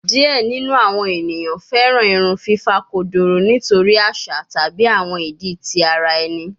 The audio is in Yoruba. Diẹ ninu awọn eniyan fẹran irun fifa kodoro nitori aṣa tabi awọn idi ti ara ẹni